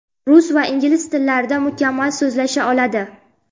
Rus va ingliz tillarida mukammal so‘zlasha oladi.